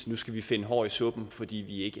nu skal finde hår i suppen fordi de